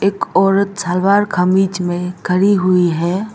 एक औरत सलवार कमीज में खड़ी हुई है।